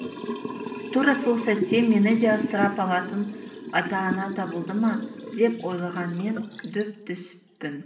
тура сол сәтте мені де асырап алатын ата ана табылды ма деп ойлаған мен дөп түсіппін